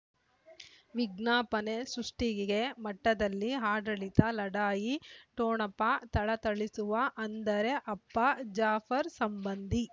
ವಿಜ್ಞಾಪನೆ ಸೃಷ್ಟಿಗೆ ಮಟ್ಟದಲ್ಲಿ ಆಡಳಿತ ಲಢಾಯಿ ಠೊಣಪ ಥಳಥಳಿಸುವ ಅಂದರೆ ಅಪ್ಪ ಜಾಫರ್ ಸಂಬಂಧಿ